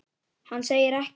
Hann segir ekkert.